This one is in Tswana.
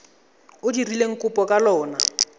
o dirileng kopo ka lona